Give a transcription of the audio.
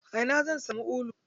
A ina zan samu ulu?